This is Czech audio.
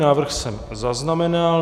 Návrh jsem zaznamenal.